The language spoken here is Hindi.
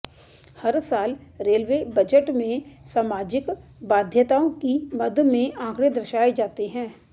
हर साल रेलवे बजट में सामाजिक बाध्यताओं की मद में आंकड़े दर्शाए जाते हैं